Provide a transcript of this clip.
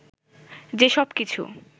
যে সব কিছু